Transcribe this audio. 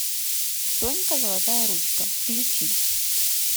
сонька золотая ручка включи